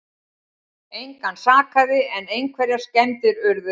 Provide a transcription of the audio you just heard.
Engan sakaði en einhverjar skemmdir urðu